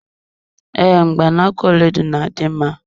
Ee, Mgbaaka ọlaedo na adị mma